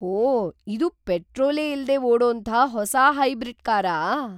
ಹೋ! ಇದು ಪೆಟ್ರೋಲೇ ಇಲ್ದೇ ಓಡೋಂಥ ಹೊಸಾ ಹೈಬ್ರಿಡ್ ಕಾರಾ?!